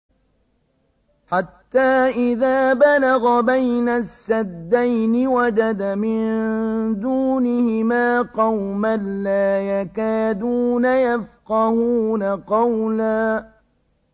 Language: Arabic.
حَتَّىٰ إِذَا بَلَغَ بَيْنَ السَّدَّيْنِ وَجَدَ مِن دُونِهِمَا قَوْمًا لَّا يَكَادُونَ يَفْقَهُونَ قَوْلًا